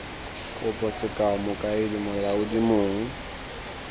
kopo sekao mokaedi molaodi mong